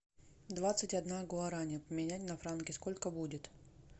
двадцать одна гуарани поменять на франки сколько будет